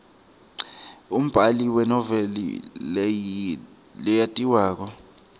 umbali wenoveli leyatiwako